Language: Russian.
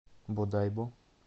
бодайбо